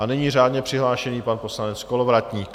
A nyní řádně přihlášený pan poslanec Kolovratník.